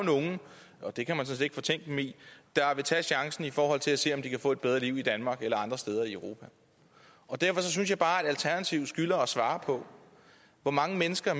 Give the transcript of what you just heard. nogle og det kan man sådan set ikke fortænke dem i der vil tage chancen for at se se om de kan få et bedre liv i danmark eller andre steder i europa derfor synes jeg bare at alternativet skylder os at svare på hvor mange mennesker